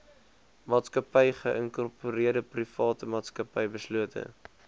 maatsakappy geïnkorpereerdeprivaatmaatsappy beslote